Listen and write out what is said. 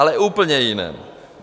Ale úplně jiném.